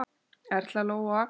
Erla, Lóa og Arnar.